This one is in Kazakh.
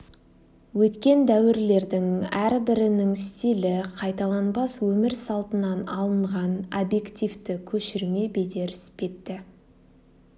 өткен дәуірлердің әрбірінің стилі қайталанбас өмір салтынан алынған объективті көшірме бедер іспетті